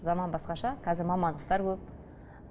заман басқаша қазір мамандықтар көп